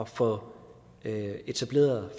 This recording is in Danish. få etableret